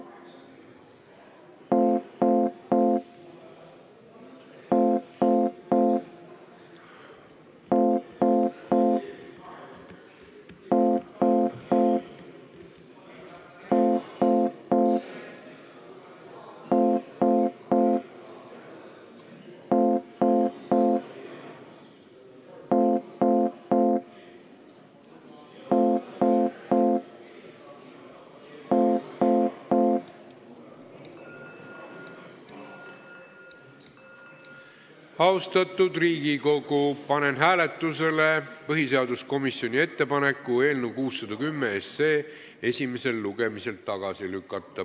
Austatud Riigikogu, panen hääletusele põhiseaduskomisjoni ettepaneku eelnõu 610 esimesel lugemisel tagasi lükata.